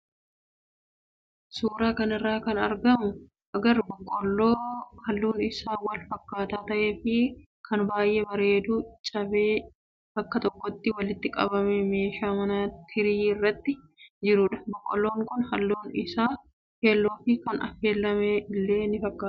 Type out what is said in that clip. Suuraa kanarraa kan agarru boqqoolloo halluun isaa wal fakkaataa ta'ee fi kan baay'ee bareedu cabee bakka tokkotti walitti qabamee meeshaa manaa tirii irratti jirudha. Boqqoolloon kun halluun isaa keelloo fi kan affeelame illee ni fakkaata.